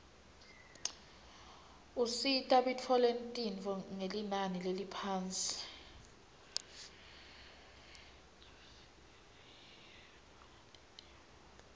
usita bitfoletinifo ngelinani leliphasi